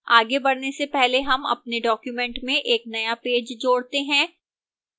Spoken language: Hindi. आगे बढ़ने से पहले हम अपने document में एक नया पेज जोड़ते हैं